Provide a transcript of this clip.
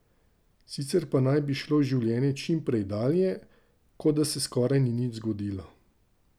Sicer pa naj bi šlo življenje čim prej dalje, kot da se skoraj nič ni zgodilo.